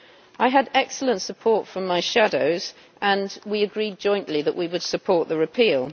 I had excellent support from my shadows, and we agreed jointly that we would support the repeal.